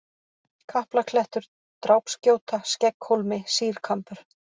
Kaplaklettur, Drápsgjóta, Skegghólmi, Sýrkambur